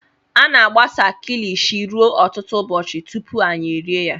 A na-agbasa kilishi ruo ọtụtụ ụbọchị tupu anyị rie ya.